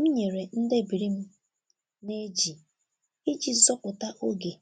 M nyere ndebiri m na-eji iji zọpụta oge